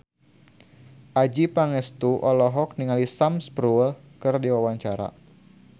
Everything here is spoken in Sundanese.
Adjie Pangestu olohok ningali Sam Spruell keur diwawancara